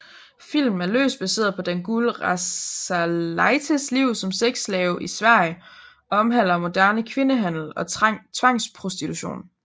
Filmen er løst baseret på Dangoule Rasalaites liv som sexslave i Sverige og omhandler moderne kvindehandel og tvangsprostitution